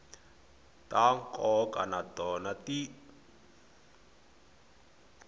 ta nkoka na tona ti